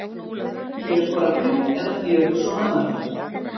Ég hef skorað þrjú eða fjögur svona mörk.